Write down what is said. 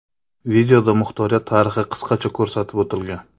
Videoda muxtoriyat tarixi qisqacha ko‘rsatib o‘tilgan.